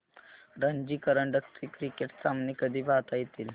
रणजी करंडक चे क्रिकेट सामने कधी पाहता येतील